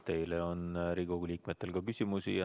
Teile on Riigikogu liikmetel ka küsimusi.